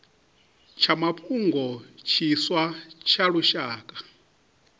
tsha mafhungo tshiswa tsha lushaka